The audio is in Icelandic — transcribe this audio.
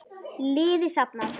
Liði safnað.